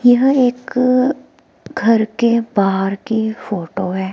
यह एक घर के बाहर की फोटो है।